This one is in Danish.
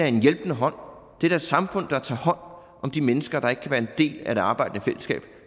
en hjælpende hånd det er da et samfund der tager hånd om de mennesker der ikke kan være en del af det arbejdende fællesskab